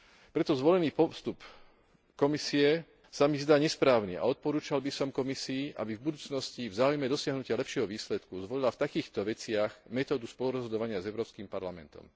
Preto zvolený postup Komisie sa mi zdá nesprávny a odporúčal by som Komisii, aby v budúcnosti v záujme dosiahnutia lepšieho výsledku zvolila v takýchto veciach metódu spolurozhodovania s Európskym parlamentom.